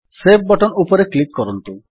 save button ଉପରେ click କରନ୍ତୁ